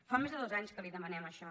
fa més de dos anys que li demanem això